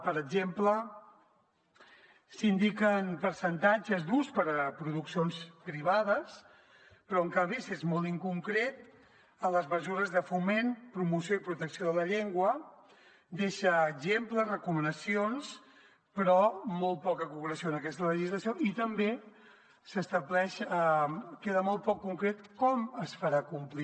per exemple s’indiquen percentatges d’ús per a produccions privades però en canvi s’és molt inconcret en les mesures de foment promoció i protecció de la llengua deixa exemples recomanacions però molt poca concreció en aquesta legislació i també queda molt poc concret com es farà complir